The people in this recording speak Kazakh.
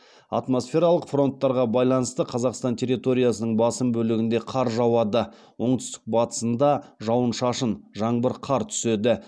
атмосфералық фронттарға байланысты қазақстан территориясының басым бөлігінде қар жауады оңтүстік батысында жауын шашын түседі